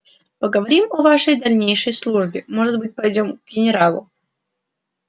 поговорим о вашей дальнейшей службе может быть пойдём к генералу